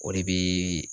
O de bi